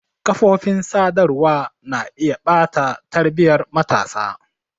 Kafofin sadarwa na iya ɓata tarbiyyar matasa.